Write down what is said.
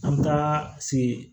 An bɛ taa se